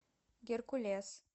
геркулес